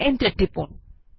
enter টিপুন